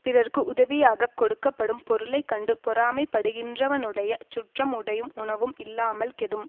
பிறர்க்கு உதவியாக கொடுக்க படும் பொருளை கண்டு பொறாமைப்படுகின்றவனுடைய சுற்றம் உடையும் உணவும் இல்லாமல் கெடும்